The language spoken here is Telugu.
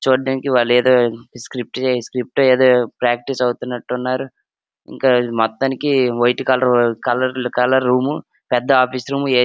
చూడ్డానికి వాళ్ళేదో స్క్రిప్ట్ చెస్-స్క్రిప్ట్ ఏదో ప్రాక్టీస్ అవుతున్నట్టు ఉన్నారు ఇంకా ఇది మొత్తానికి white colour colour colour room పెద్ద ఆఫీస్ రూమ్ ఏ --